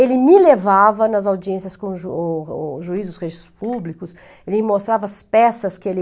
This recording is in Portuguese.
Ele me levava nas audiências com os ju o o juízes dos registros públicos, ele me mostrava as peças que ele...